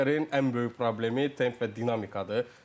İnterin ən böyük problemi temp və dinamikadır.